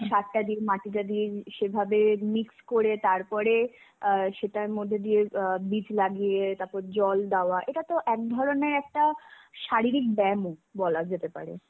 সারটা দিয়ে মাটিটাটি দিয়ে সেভাবে mix করে তারপরে আ সেটার মধ্যে দিয়ে আ বীজ লাগিয়ে তারপর জল দেওয়া, এটাত একধরনের একটা শারীরিক ব্যায়ামও বলা যেতে পারে.